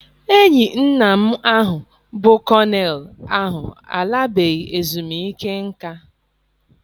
Enyi nna m ahụ bụ kọnel ahụ alabeghị ezumike nká.